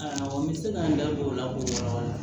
A n bɛ se ka n da don o la k'o yɔrɔ la